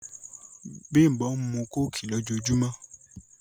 Bímbọ̀ n mú kòkì lọ̀jọ̀ọ̀jùmọ̀